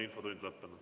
Infotund on lõppenud.